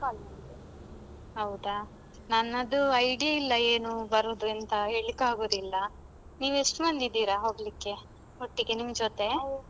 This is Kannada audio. ಹೌದಾ? ನನ್ನದು idea ಇಲ್ಲ ಏನು ಬರುದು ಎಂತ ಹೇಳಿಕ್ಕಾಗುದಿಲ್ಲ. ನೀವು ಎಷ್ಟು ಮಂದಿ ಇದ್ದೀರಾ ಹೋಗ್ಲಿಕ್ಕೆ ಒಟ್ಟಿಗೆ ನಿಮ್ ಜೊತೆ?